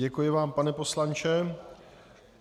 Děkuji vám, pane poslanče.